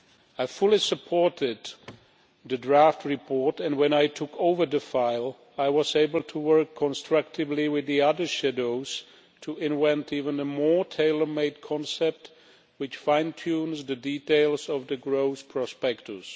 I fully supported the draft report and, when I took over the file, I was able to work constructively with the other shadows to invent an even more tailor-made concept which fine tunes the details of the growth prospectus.